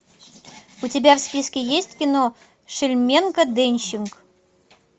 у тебя в списке есть кино шельменко денщик